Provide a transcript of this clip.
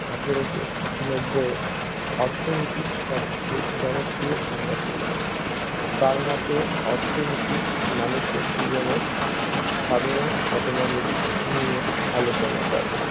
আঠেরোশো নব্বইয়ে অর্থনীতি সবচেয়ে জনপ্রিয় সংজ্ঞা দিয়েছেন তারমতে অর্থনীতি মানুষের জীবনে সাধারণ ঘটনাবলী নিয়ে আলোচনা করে